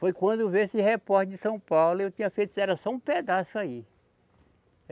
Foi quando veio esse repórter de São Paulo e eu tinha feito, era só um pedaço aí.